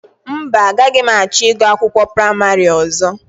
Mba, agaghị m achọ ịgụ akwụkwọ praịmarị ọzọ